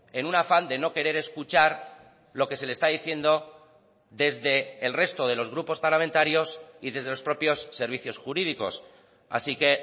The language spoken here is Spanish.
en un afán de no querer escuchar lo que se le está diciendo desde el resto de los grupos parlamentarios y desde los propios servicios jurídicos así que